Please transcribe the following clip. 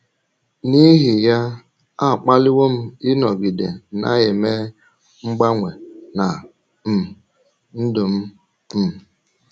N’ihi ya, a kpaliwo m ịnọgide na - eme mgbanwe ná um ndụ m. um